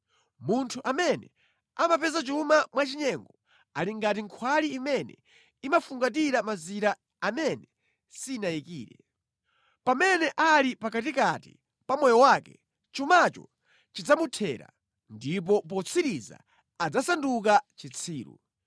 Munthu amene amapeza chuma mwachinyengo ali ngati nkhwali imene imafungatira mazira amene sinayikire. Pamene ali pakatikati pa moyo wake, chumacho chidzamuthera, ndipo potsiriza adzasanduka chitsiru.